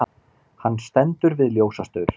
Hann stendur við ljósastaur.